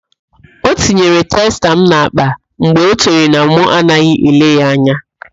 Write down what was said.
Ọ tinyere testa m n'akpa mgbe ọ chere na mụ anaghị ele ya anya.